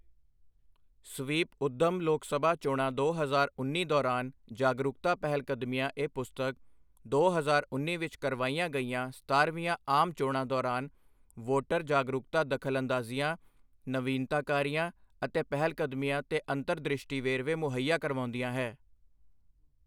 SVEEP ਉੱਦਮ ਲੋਕ ਸਭਾ ਚੋਣਾਂ ਦੋ ਹਜ਼ਾਰ ਉੱਨੀ ਦੌਰਾਨ ਜਾਗਰੂਕਤਾ ਪਹਿਲਕਦਮੀਆਂ ਇਹ ਪੁਸਤਕ, ਦੋ ਹਜ਼ਾਰ ਉੱਨੀ ਵਿਚ ਕਰਵਾਈਆਂ ਗਈਆਂ ਸਤਾਰਵੀਂਆਂ ਆਮ ਚੋਣਾਂ ਦੌਰਾਨ ਵੋਟਰ ਜਾਗਰੂਕਤਾ ਦਖ਼ਲਅੰਦਾਜ਼ੀਆਂ, ਨਵੀਨਤਾਕਾਰੀਆਂ ਅਤੇ ਪਹਿਲਕਦਮੀਆਂ ਦੇ ਅੰਤਰਦ੍ਰਿਸ਼ਟੀ ਵੇਰਵੇ ਮੁਹੱਈਆ ਕਰਵਾਉਂਦੀ ਹੈ।